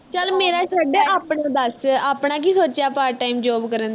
ਚੱਲ ਮੇਰਾ ਛੱਡ ਆਪਣਾ ਦੱਸ ਆਪਣਾ ਕੀ ਸੋਚਿਆ part time job ਕਰਨ ਦਾ